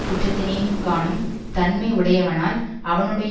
குற்றத்தினையும் காணும் தன்மை உடையவனானால் அவனுடைய